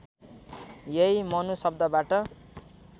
यही मनु शब्दबाट